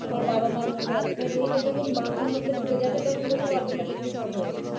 আমার বাবা মার মুখ রাখতে হবে এটা যখন মাথার মধ্যে ঢুকে যাবে তখন দেখবে automatically সব হয়ে গেছে